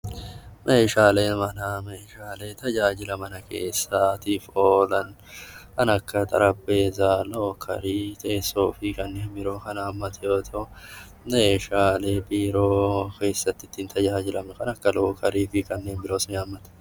Meeshaalee manaa Meeshaalee tajaajila mana keessaa tiif oolan kan akka Xarapheezaa, Lookerii, teessoo fi kannneen biroo kan hammate yoo ta'u, meeshsslee biiroo keessatti ittiin tajaajilamnu kan akka lookerii fi kanneen biroos ni hammata.